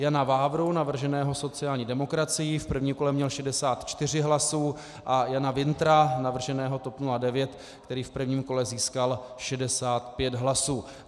Jana Vávru, navrženého sociální demokracií, v prvním kole měl 64 hlasů, a Jana Wintra, navrženého TOP 09, který v prvním kole získal 65 hlasů.